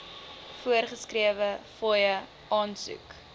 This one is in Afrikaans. voorgeskrewe fooie aansoek